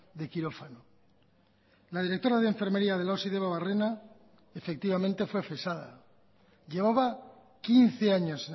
de quirófano la directora de enfermería de la osi debabarrena efectivamente fue cesada llevaba quince años